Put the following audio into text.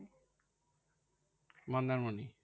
Mandarmani?